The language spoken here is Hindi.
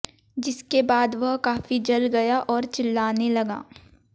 जिसके बाद वह काफी जल गया और चिल्लाने लगा